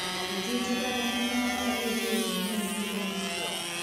etii tipat enkipangata eishoi eitumiai inkoitoi naapaasha